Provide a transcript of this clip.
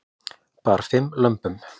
Bar fimm lömbum